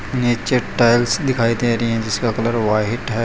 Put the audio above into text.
नीचे टाइल्स दिखाई दे रही है जिसका कलर व्हाइट है।